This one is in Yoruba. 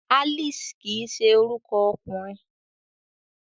Alice kii se oruko okunrin